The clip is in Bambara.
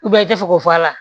i tɛ fɛ k'o fɔ a la